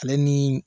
Ale ni